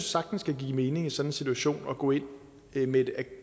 sagtens kan give mening i sådan en situation at gå ind med en